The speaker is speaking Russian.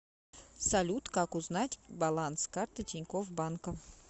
салют как узнать баланс карты тинькофф банка